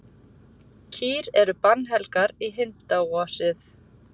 Kýr eru bannhelgar í hindúasið.